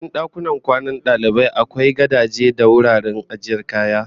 A cikin dakunan kwanan dalibai akwai gadaje da wuraren ajiyar kaya